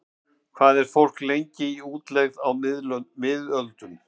Hvað var fólk lengi í útlegð á miðöldum?